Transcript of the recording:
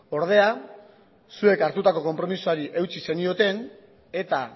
ordea zuek hartutako konpromisoari eutsi zenioten eta